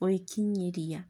gũikĩnyĩria.